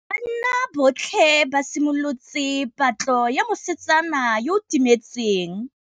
Banna botlhê ba simolotse patlô ya mosetsana yo o timetseng.